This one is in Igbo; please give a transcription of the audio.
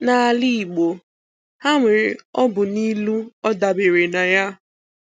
N’álà Ị̀gbò, ha nwere òbụ̀ nà ìlù ọ̀ dabere nà ya.